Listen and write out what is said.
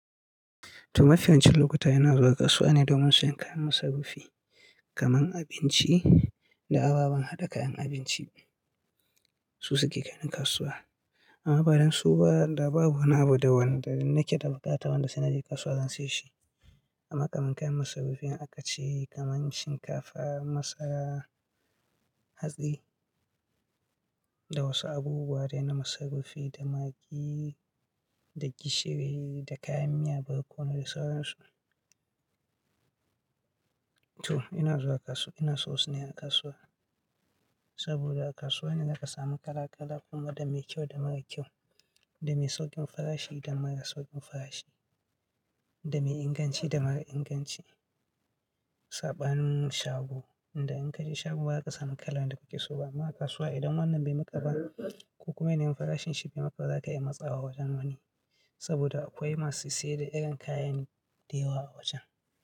To mafi yawancin lokuta ina zuwa kasuwa ne domin siyan kayan masarufi, kaman abinci da ababen haɗa kayan abinci su suke kaini kasuwa. Amma ba dan su ba da babu wani abu da wani da nake da buƙata wanda sai na je kasuwa zan sayi shi. Amma kaman kayan masarufin aka ce kamar shinkafa, masara, hatsi da wasu abubuwa dai na masarufi da magi da gishiri da kayan miya ba ko wanda ya sauransu. To ina zuwa kasuwa, ina sosu ne a kasuwa saboda a kasuwa ne zaka samu kala kala kuma da mai kyau da mara kyau, da mai sauƙin farashi da mara sauƙin farashi, da mai inganci da mara inganci. Saɓanin shago, idan ka je shago zaka samu kalan da kuke so ba. Amma a kasuwa idan wannan bai maka ba ko kuma in farashin shi bai maka ba zaka iya matsawa wajen wani saboda akwai masu sayar da irin kayan da yawa a wajen.